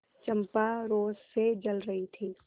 चंपा रोष से जल रही थी